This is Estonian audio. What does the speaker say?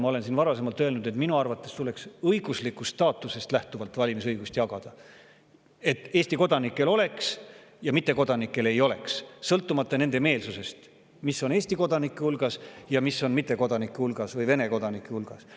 Ma olen siin varasemalt öelnud, et minu arvates tuleks valimisõigust jagada õiguslikust staatusest lähtuvalt, nii et Eesti kodanikel see oleks ja mittekodanikel ei oleks, sõltumata meelsusest, mis on Eesti kodanike hulgas ja mis on mittekodanike või Vene kodanike hulgas.